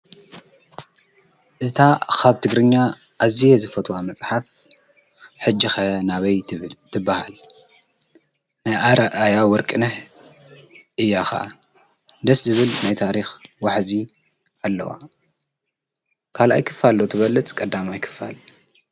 እታ ኻብ ትግርኛ ኣዚየ ዝፈትዋ መጽሓፍ ሕጅኸ ናበይ ትበሃል ናይ ኣርኣያ ወርቅነሕ ኢያኸዓ ደስ ዝብል ናይ ታሪኽ ዋሕእዚ ኣለዋ ካል ኣይ ክፋ ኣሎ ትበለጽ ቀዳማ ኣይክፋል